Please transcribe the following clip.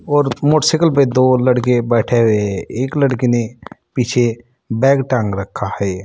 और मोटरसाइकिल पे दो लड़के बैठे हुए है एक लड़के ने पीछे बैग टांग रखा है।